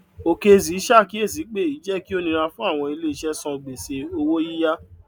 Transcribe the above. okezie ṣàkíyèsí pé èyí jẹ kí ó nira fún àwọn ilé iṣẹ san gbèsè owó yíyá